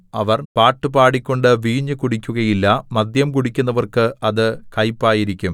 അവർ പാട്ടു പാടിക്കൊണ്ടു വീഞ്ഞു കുടിക്കുകയില്ല മദ്യം കുടിക്കുന്നവർക്ക് അത് കയ്പായിരിക്കും